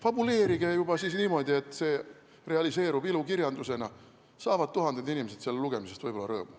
Fabuleerige siis juba niimoodi, et see realiseerub ilukirjandusena, nii saavad võib-olla tuhanded inimesed selle lugemisest rõõmu.